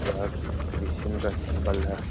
यह क्रिश्चन का संबल है।